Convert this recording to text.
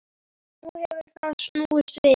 Nú hefur það snúist við.